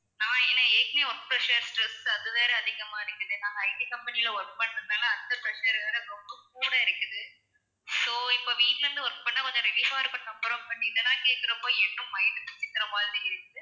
நான் எனக்கு ஏற்கனவே work pressure stress அதுவேற அதிகமா இருக்குது நான் IT company ல work பண்றதுனால அந்த pressure வேற ரொம்ப கூட இருக்குது so இப்போ வீட்டுல இருந்து work பண்ணா கொஞ்சம் relief இருந்துதுக்கு அப்பறம் பண்ணிட்டேன் but இதெல்லாம் கேக்குறப்போ இன்னும் mind வெடிக்கிற மாதிரி இருக்கு